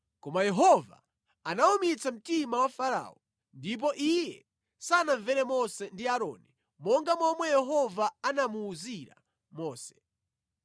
Koma Yehova anawumitsa mtima wa Farao ndipo iye sanamvere Mose ndi Aaroni monga momwe Yehova anamuwuzira Mose.